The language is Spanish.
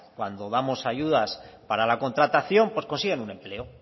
cuando damos ayudas para la contratación pues consiguen un empleo